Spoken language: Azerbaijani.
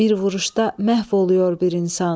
Bir vuruşda məhv olur bir insan.